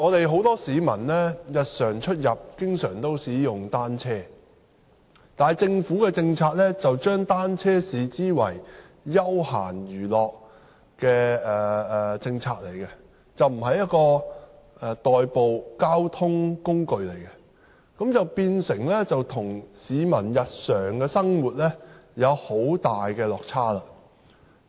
很多市民日常出入都經常使用單車，但政府的政策把單車視為休閒娛樂，而不是一種代步的交通工具，變成與市民的日常生活需要有很大落差。